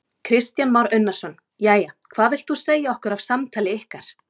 Kristján Már Unnarsson: Jæja, hvað vilt þú segja okkur af samtali ykkar?